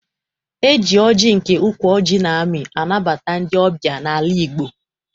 E ji ọjị nke ukwu ọjị na-amị anabata ndị ọbịa n'ala Igbo.